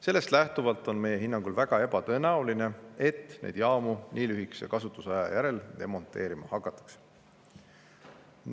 Sellest lähtuvalt on meie hinnangul väga ebatõenäoline, et neid jaamu nii lühikese kasutuse järel demonteerima hakatakse.